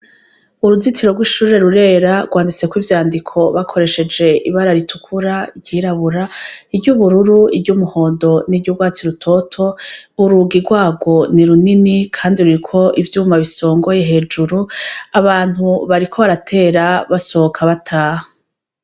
Uruzitiro rw'ishure rurera rwanditseko ivyandiko bakoresheje ibara ritukura, iryirabura, iry'ubururu, iry'umuhondo, n'iryurwatsi rutoto, urugi rwarwo ni runini, kandi ruriko ivyuma bisongoye hejuru, abantu bariko baratera basohoka bataha.